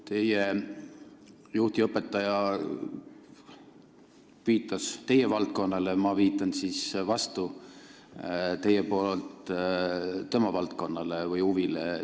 Teie juht ja õpetaja viitas teie valdkonnale, ma viitan teie nimel vastu tema valdkonnale või huvile.